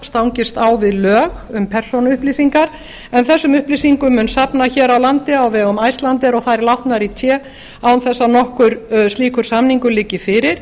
stangist á við lög um persónuupplýsingar en þessum upplýsingum mun safnað hér á landi á vegum icelandair og þær látnar í té án þess að nokkur slíkur samningur liggi fyrir